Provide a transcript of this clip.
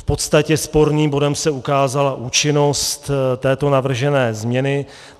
V podstatě sporným bodem se ukázala účinnost této navržené změny.